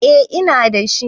Eh ina dashi